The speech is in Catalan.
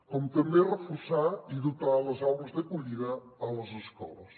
com també reforçar i dotar les aules d’acollida a les escoles